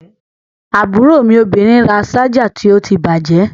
Àbúrò mi obìnrin ra ṣájà tó ti bàjẹ́.